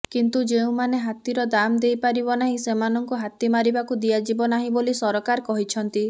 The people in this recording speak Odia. କିନ୍ତୁ ଯେଉଁମାନେ ହାତୀର ଦାମ୍ ଦେଇପାରିବ ନାହିଁ ସେମାନଙ୍କୁ ହାତୀ ମାରିବାକୁ ଦିଆଯିବ ନାହିଁ ବୋଲି ସରକାର କହିଛନ୍ତି